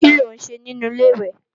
Kí ló ń ṣe nínu Ilé-ìwẹ̀?